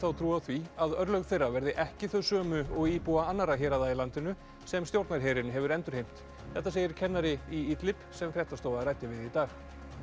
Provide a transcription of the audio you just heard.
trú á því að örlög þeirra verði ekki þau sömu og íbúa annarra héraða í landinu sem stjórnarherinn hefur endurheimt þetta segir kennari í sem fréttastofa ræddi við í dag